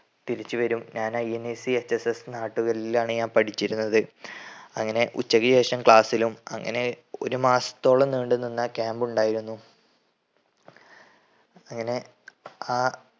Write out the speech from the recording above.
തിരിച്ച് വരും. ഞാൻ INACHSS നാട്ടുകലിലാണ് ഞാൻ പഠിച്ചിരുന്നത്. അങ്ങനെ ഉച്ചക്ക് ശേഷം ക്ലാസ്സിലും അങ്ങനെ ഒരു മാസത്തോളം നീണ്ട് നിന്ന camp ഉണ്ടായിരുന്നു അങ്ങനെ ആ